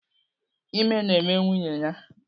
Ime na-eme nwunye ya.